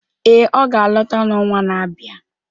Ee, ọ ga-alọta n’ọnwa na-abịa.